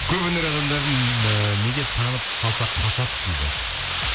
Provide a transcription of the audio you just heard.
көп өнер адамдарын ыыы неге танып қалса қашады дейді